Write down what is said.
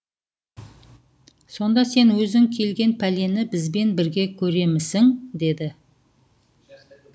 сонда сен өзің келген пәлені бізбен бірге көремісің деді